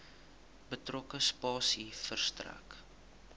betrokke spasie verstrek